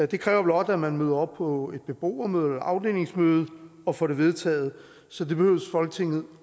det kræver blot at man møder op på et beboermøde eller afdelingsmøde og får det vedtaget så det behøves folketinget